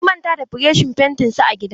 Sun manta da burushin fentin su a gidana.